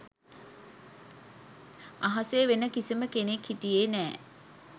අහසේ වෙන කිසිම කෙනෙක් හිටියේ නැහැ